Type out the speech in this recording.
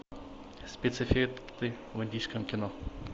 спецэффекты в индийском кино